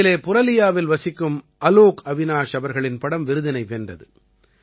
இதிலே புரலியாவில் வசிக்கும் அலோக் அவிநாஷ் அவர்களின் படம் விருதினை வென்றது